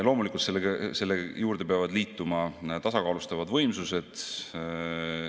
Loomulikult sellele peavad lisanduma tasakaalustavad võimsused.